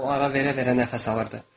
O ara verə-verə nəfəs alırdı.